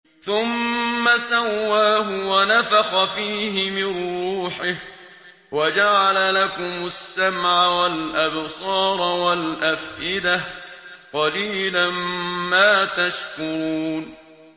ثُمَّ سَوَّاهُ وَنَفَخَ فِيهِ مِن رُّوحِهِ ۖ وَجَعَلَ لَكُمُ السَّمْعَ وَالْأَبْصَارَ وَالْأَفْئِدَةَ ۚ قَلِيلًا مَّا تَشْكُرُونَ